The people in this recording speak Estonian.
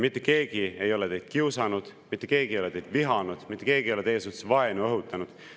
Mitte keegi ei ole teid kiusanud, mitte keegi ei ole teid vihanud, mitte keegi ei ole teie suhtes vaenu õhutanud.